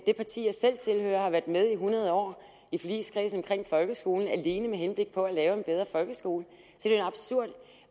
det parti jeg selv tilhører har været med i hundrede år i forligskredsen omkring folkeskolen alene med henblik på at lave en bedre folkeskole